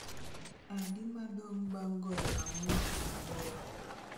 adi ma odong' bang' golo ang'wen kuom aboro